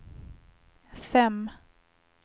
fem